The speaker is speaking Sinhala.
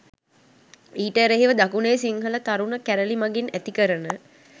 ඊට එරෙහිව දකුණේ සිංහල තරුණ කැරලි මගින් ඇති කරන